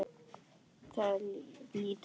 Þau líta við.